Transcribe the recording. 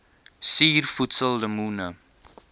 suur voedsel lemoene